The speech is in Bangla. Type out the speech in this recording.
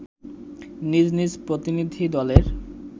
নিজ নিজ প্রতিনিধি দলের